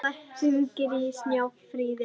Dalla, hringdu í Snjáfríði.